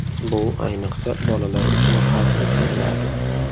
Bu, ayniqsa, bolalar uchun xavfli sanaladi.